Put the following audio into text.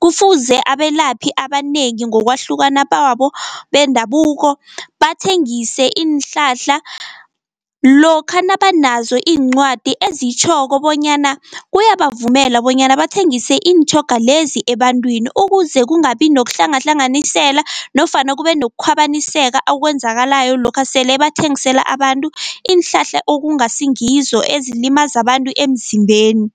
Kufuze abelaphi abanengi ngokwahlukana babo bendabuko, bathengise iinhlahla lokha nabanazo iincwadi ezitjhoko bonyana kuyabavumela bonyana bathengise iintjhoga lezi ebantwini, ukuze kungabi nokuhlangahlanganisela nofana kube nokukhwabaniseka okwenzakalayo, lokha sele bathengisela abantu iinhlahla okungasi ngizo ezilimaza abantu emzimbeni.